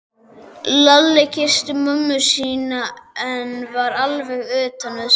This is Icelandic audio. Lalli kyssti mömmu sína en var alveg utan við sig.